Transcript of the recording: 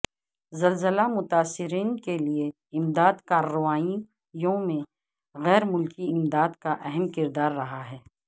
زلزلہ متاثرین کے لیے امدادی کارروائیوں میں غیر ملکی امداد کا اہم کردار رہا ہے